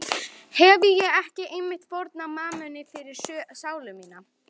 Hefi ég ekki einmitt fórnað mammoni fyrir sálu mína?